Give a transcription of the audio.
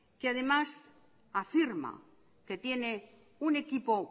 que además afirma que tiene un equipo